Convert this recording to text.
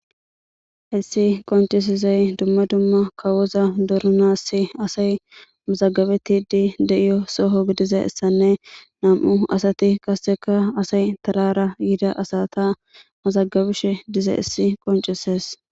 Hayssi qonccisizayssi dumma dumma kawoza dooranas asay mazagabettidi de'iyo soho gididayssanne nam'u asati qasekka asay tarara yida asata mazagabishe dizayssi essi qonccises